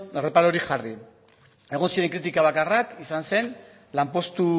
erreparorik jarri egon ziren kritika bakarrak izan zen lanpostu